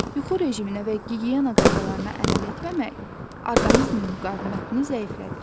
Yuxu rejiminə və gigiyena qaydalarına əməl etməmək orqanizmin müqavimətini zəiflədir.